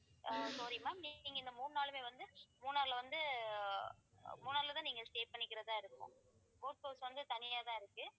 ஆஹ் sorry ma'am நீங்க இந்த மூணு நாளுமே வந்து மூணார்ல வந்து மூணார்லதான் நீங்க stay பண்ணிக்கிறதா இருக்கும் boat house வந்து தனியாதான் இருக்கு